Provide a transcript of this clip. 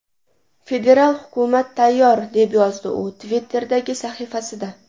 Federal hukumat tayyor!” deb yozdi u Twitter’dagi sahifasida.